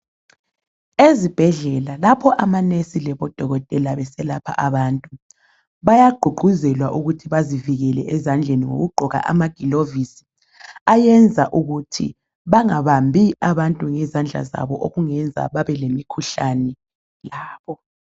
Ezibhedlela lapho amanesi labo dokotela besalapha abantu, bayagqugquzelwa ukuthi bazivikele ezandleni ngokugqoka amaglovisi ayenza ukuthi bangabambi abantu ngezandla zabo okungenza babe lemikhuhlane labo.